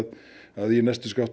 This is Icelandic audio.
að í næstu